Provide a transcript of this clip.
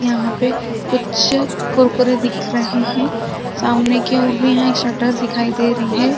यहाँ पे कुछ कुरकुरे दिख रहे है सामने की ओर भी यहाँ एक शटर दिखाई दे रही है।